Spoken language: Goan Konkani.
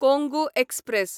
कोंगू एक्सप्रॅस